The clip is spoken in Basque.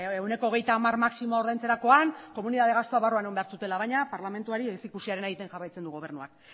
ehuneko hogeita hamar maximo ordaintzerakoan komunitate gastuak barruan egon behar zutela baina parlamentuari ez ikusiarena egiten jarraitzen du gobernuak